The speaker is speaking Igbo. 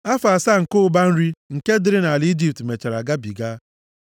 Afọ asaa nke ụba nri nke dịrị nʼala Ijipt mechara gabiga.